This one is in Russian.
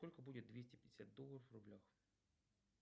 сколько будет двести пятьдесят долларов в рублях